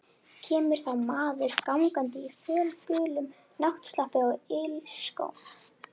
Kemur þá maður gangandi í fölgulum náttslopp og ilskóm.